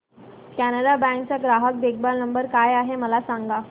Canara bank चा ग्राहक देखभाल नंबर काय आहे मला सांगा